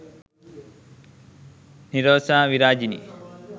nirosha virajini